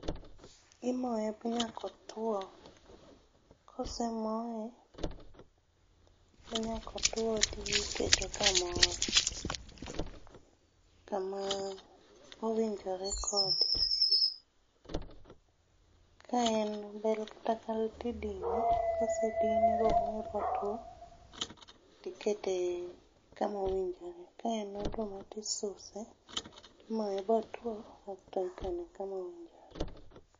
Imoye manyaka otwo. Kosemoye manyaka otwo to idhi ikete kamoro. Kama owinjore kode. Kaen bel kata kal to idine. Kosedine momoye motwo, tikane kama owinjore. Ka en oduma to isuse, imoye motwo, kasto ikane kama owinjore.